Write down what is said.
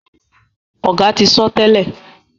Oga tí sọ tèlé.